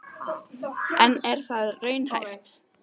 En er það raunhæft?